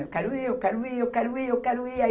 Eu quero ir, eu quero ir, eu quero ir, eu quero ir. Aí